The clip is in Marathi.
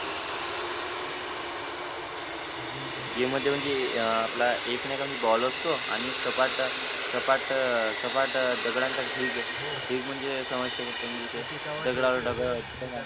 गेम मध्ये म्हणजे एक नाय का म्हणजे अं आपला बॉल असतो सपाट सपाट अं सपाट अं सपाट दगडांचा ढीग ढीग म्हणजे दगडावर दगड